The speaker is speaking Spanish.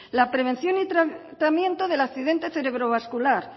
la prevención y tratamiento del accidente cerebrovascular